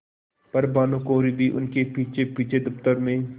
पर भानुकुँवरि भी उनके पीछेपीछे दफ्तर में